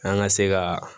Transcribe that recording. An ka se ka